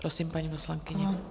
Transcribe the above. Prosím, paní poslankyně.